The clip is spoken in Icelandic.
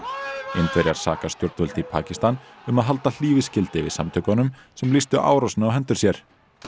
Indverjar saka stjórnvöld í Pakistan um að halda hlífiskildi yfir samtökum sem lýstu árásinni á hendur sér